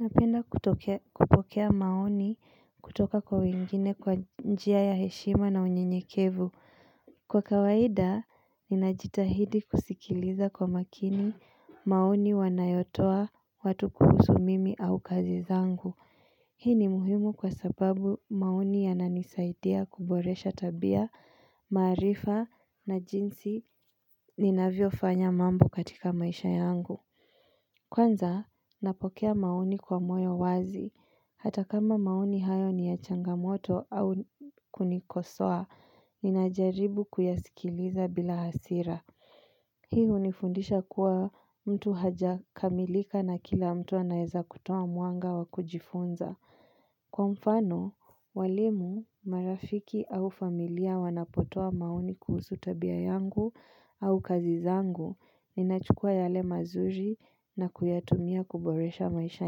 Napenda kupokea maoni kutoka kwa wengine kwa njia ya heshima na unyenyekevu. Kwa kawaida, ninajitahidi kusikiliza kwa makini maoni wanayotoa watu kuhusu mimi au kazi zangu. Hii ni muhimu kwa sababu maoni yananisaidia kuboresha tabia, maarifa na jinsi ninavyo fanya mambo katika maisha yangu. Kwanza, napokea maoni kwa moyo wazi. Hata kama maoni hayo ni ya changamoto au kunikosoa, ninajaribu kuyasikiliza bila hasira. Hii hunifundisha kuwa mtu haja kamilika na kila mtu anaweza kutoa mwanga wa kujifunza. Kwa mfano, walimu, marafiki au familia wanapotoa maoni kuhusu tabia yangu au kazi zangu, ninachukua yale mazuri na kuyatumia kuboresha maisha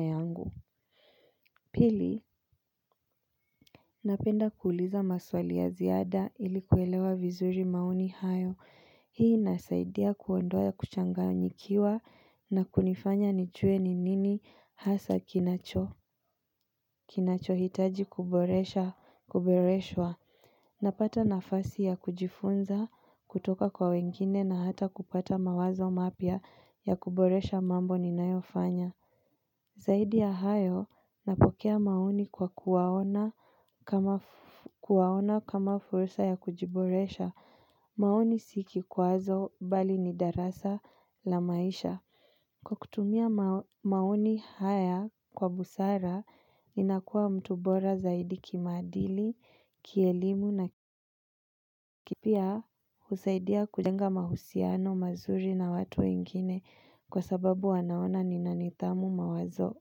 yangu. Pili, napenda kuuliza maswali ya ziada ilikuelewa vizuri maoni hayo. Hii inasaidia kuondoa kuchanganyikiwa na kunifanya nijue ni nini hasa kinacho. Kinacho hitaji kuboresha, kuboreshwa. Napata nafasi ya kujifunza, kutoka kwa wengine na hata kupata mawazo mapya ya kuboresha mambo ninayofanya. Zaidi ya hayo napokea maoni kwa kuwaona kama fursa ya kujiboresha, maoni si kikwazo bali ni darasa la maisha. Kwa kutumia maoni haya kwa busara, ninakuwa mtu bora zaidi kimaadili, kielimu na Pia husaidia kujenga mahusiano mazuri na watu wengine kwa sababu wanaona ninanidhamu mawazo.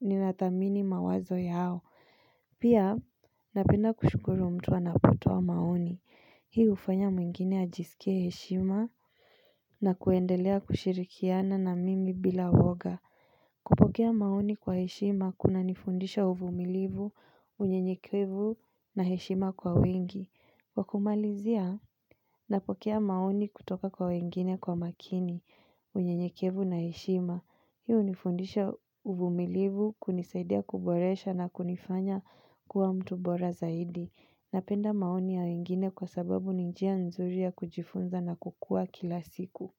Ninathamini mawazo yao. Pia napenda kushukuru mtu anapotoa maoni hii hufanya mwingine ajisikie heshima Nakuendelea kushirikiana na mimi bila woga. Kupokea maoni kwa heshima kunanifundisha uvumilivu unyenyekevu na heshima kwa wengi. Kwakumalizia napokea maoni kutoka kwa wengine kwa umakini unyenyekevu na heshima. Hii hunifundisha uvumilivu kunisaidia kuboresha na kunifanya kuwa mtu bora zaidi. Napenda maoni ya wengine kwa sababu ni njia nzuri ya kujifunza nakukua kila siku.